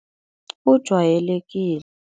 Kujwayelekile.